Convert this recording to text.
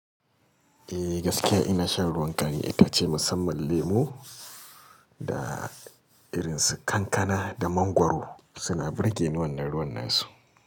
Eh gaskiya ina shan ruwan kari itace musamman lemo da irin su kankana da mangwaro suna birgen wannan ruwan nasu.